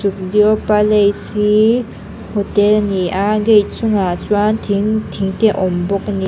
palace hi hotel a ni a gate chung ah chuan thing thing te a awm bawk a ni.